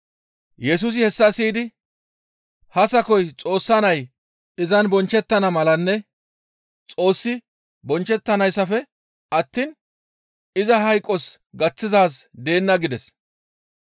Yesusi hessa siyidi, «Ha sakoy Xoossa nay izan bonchchettana malanne Xoossi bonchchettanaassafe attiin iza hayqos gaththizaaz deenna» gides.